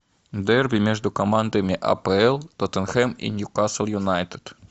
дерби между командами апл тоттенхэм и ньюкасл юнайтед